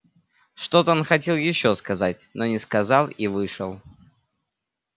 что-то он хотел ещё сказать но не сказал и вышел